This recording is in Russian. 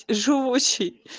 живущий